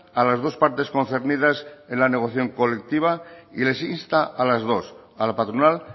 a las dos partes concernidas en la negociación colectiva y les insta a las dos a la patronal